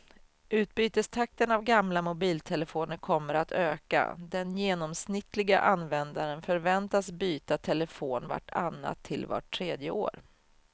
Utbytestakten av gamla mobiltelefoner kommer att öka, den genomsnittliga användaren förväntas byta telefon vart annat till vart tredje år.